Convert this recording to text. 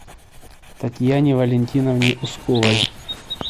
татьяне валентиновне усковой